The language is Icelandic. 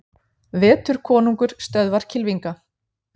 Vetur konungur stöðvar kylfinga